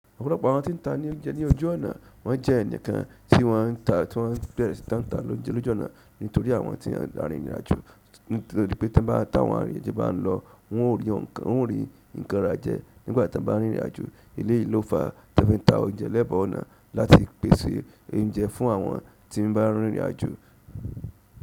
Ọ̀pọ̀lọpọ̀ àwọn tí ń ta ní oúnjẹ ní ojú ọ̀nà wọ́n jẹ́ ẹ̀nikan tí wọ́n ta tí wọ́n bẹ̀rẹ̀ sí táǹta lójú ọ̀nà nítorí àwọn tí wọ́n ń rin ìrìn àjò, nítorí pé ti won bá ta àwọn àrírinajo bàn lọ, wọn ó rí nǹkan rájẹ̀ nígbà tí wọn bá ń rin ìrìn àjò. Elé yìí ló fa tí won fi ń ta oúnjẹ lẹ́bàá ọ̀nà láti pèsè oúnjẹ fún àwọn tí ń bá ń rin ìrìn àjò.